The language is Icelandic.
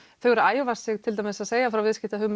þau eru að æfa sig til dæmis að segja frá